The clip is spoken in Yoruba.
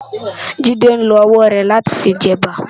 Jide n ló òwò lá ti fi jè èbá